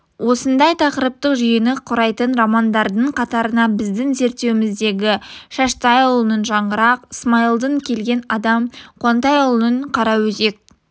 осындай тақырыптық жүйені құрайтын романдардың қатарына біздің зерттеуіміздегі шаштайұлының жаңғырық смайылдың келген адам қуантайұлының қараөзек